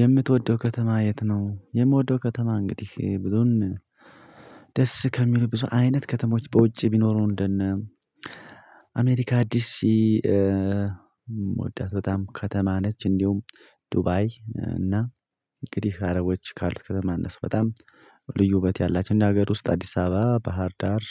የምትወደው ከተማ የት ነው? የምወደው ከተማ እንግዲህ ብዙን ደስ ከሚሉ ብዙ አይነት ከተሞች በውጪ ቢኖሩ እንደነ አሜሪካ ዲሲ የምወዳት በጣም ከተማ ነች እንዲሁም ዱባይ እና እንግዲህ አረቦች ካሉት ከተማ እነሱ በጣም ልዩ ውበት ያላቸው እንደ ሀገር ውስጥ አዲስ አበባ ባህር ዳር